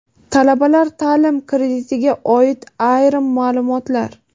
Talabalar taʼlim kreditiga oid ayrim maʼlumotlar.